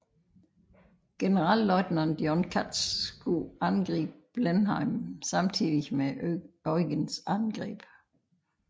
Generalløjtnant John Cutts skulle angribe Blenheim samtidig med Eugens angreb